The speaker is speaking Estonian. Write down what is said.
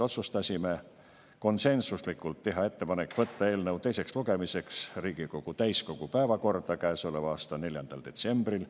Otsustasime konsensuslikult teha ettepaneku võtta eelnõu teiseks lugemiseks Riigikogu täiskogu päevakorda käesoleva aasta 4. detsembril.